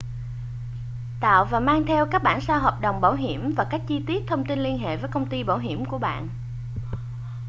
tạo và mang theo các bản sao hợp đồng đồng bảo hiểm và các chi tiết thông tin liên hệ với công ty bảo hiểm của bạn